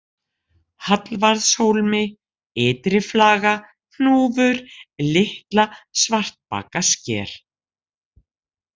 Hallvarðshólmi, Ytri-Flaga, Hnúfur, Litla-Svartbakasker